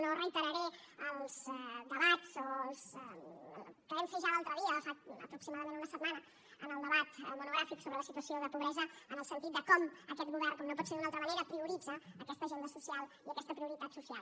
no reiteraré els debats que vam fer ja l’altre dia fa aproximadament una setmana en el debat monogràfic sobre la situació de pobresa en el sentit de com aquest govern com no pot ser d’una altra manera prioritza aquesta agenda social i aquesta prioritat social